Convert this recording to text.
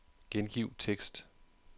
Gengiv tekst.